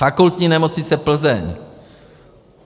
Fakultní nemocnice Plzeň.